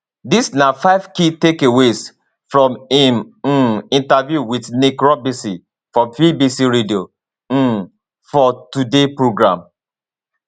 dis na five key takeaways from im um interview wit nick robinson for bbc radio um 4 today programme